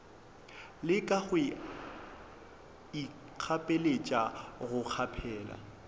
leka go ikgapeletša go kgaphela